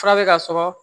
Fura bɛ ka sɔrɔ